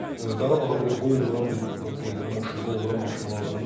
Amma Qarabağa belə qol vuran bir deyirlər maşın, qol vuran maşın lazımdır.